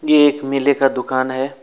ये एक मेले का दुकान है।